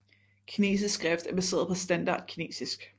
Kinesisk skrift er baseret på standard kinesisk